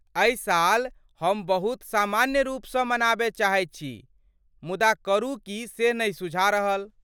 एहि साल हम बहुत सामान्य रूप स मनाबय चाहैत छी, मुदा करू की से नहि सुझा रहल।